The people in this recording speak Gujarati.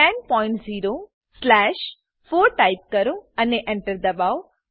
100 સ્લેશ 4 ટાઇપ કરો અને Enter દબાવો